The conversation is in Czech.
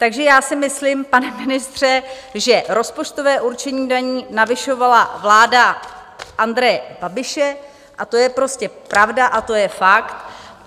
Takže já si myslím, pane ministře, že rozpočtové určení daní navyšovala vláda Andreje Babiše a to je prostě pravda a to je fakt.